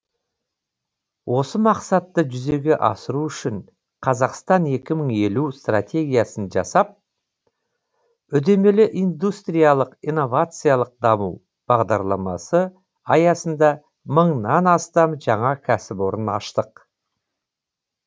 осы мақсатты жүзеге асыру үшін қазақстан екі мың елу стратегиясын жасап үдемелі индустриялық инновациялық даму бағдарламасы аясында мыңнан астам жаңа кәсіпорын аштық